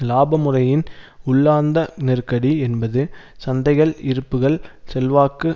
இலாப முறையின் உள்ளார்ந்த நெருக்கடி என்பது சந்தைகள் இருப்புக்கள் செல்வாக்கு